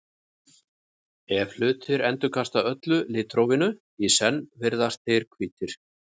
ef hlutir endurkasta öllu litrófinu í senn virðast þeir hvítir